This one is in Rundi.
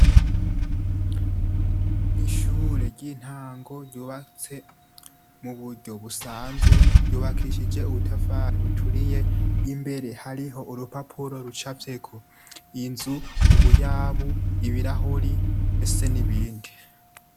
Ishure ry'intango ryubatse mu buryo busanzwe, ryubakishije ubutafari buturiye. Imbere hariho urupapuro rucafyeko inzu, ubuyabu, ibirahuri ndetse n'ibindi.